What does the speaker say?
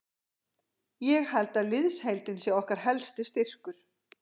Ég held að liðsheildin sé okkar helsti styrkur.